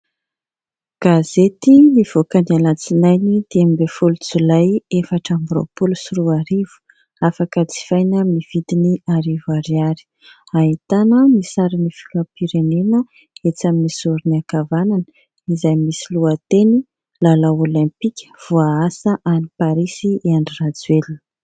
Gazety nivoaka ny alatsinainy dimy ambin'ny folo jolay efatra amby roapolo sy roa arivo afaka jifaina amin'ny vidiny arivo ariary ahitana ny sarin'ny filoham-pirenena etsỳ amin'ny zorony ankavanana izay misy lohateny lalao "olimpika" voaasa any "parisy" Andry Rajoelina.